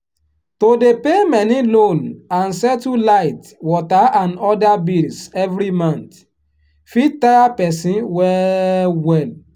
to dey pay many loan and settle light water and other bills every month fit tire person well-well.